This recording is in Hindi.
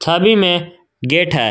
सभी में गेट है।